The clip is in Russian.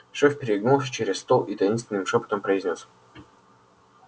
шеф перегнулся через стол и таинственным шёпотом произнёс